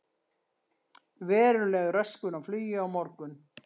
Veruleg röskun á flugi á morgun